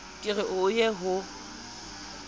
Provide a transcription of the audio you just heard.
ke re ho ye ho